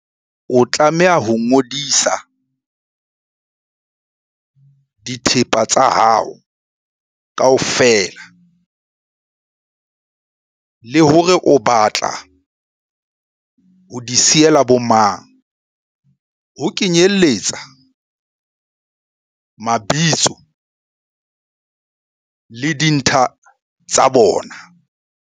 O tlameha ho ngodisa dithepa tsa hao kaofela le hore o batla ho di siyela bomang, ho kenyeletsa mabitso le dintlha tsa bona.